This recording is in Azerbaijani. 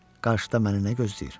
Qarşıda məni nə gözləyir?